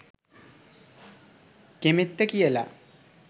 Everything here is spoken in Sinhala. කෙමෙත්ත කියලා